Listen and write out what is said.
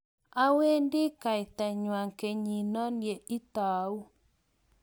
awendi kaitangwany kenyit no ye itau